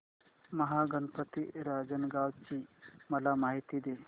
महागणपती रांजणगाव ची मला माहिती दे